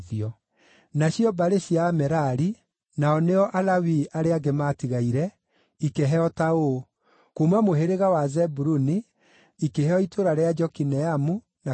Nacio mbarĩ cia Amerari (nao nĩo Alawii arĩa angĩ maatigaire) makĩheo: kuuma mũhĩrĩga wa Zebuluni, nĩ itũũra rĩa Jokineamu, na Karita,